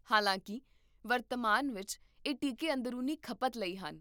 ਹਾਲਾਂਕਿ, ਵਰਤਮਾਨ ਵਿੱਚ, ਇਹ ਟੀਕੇ ਅੰਦਰੂਨੀ ਖਪਤ ਲਈ ਹਨ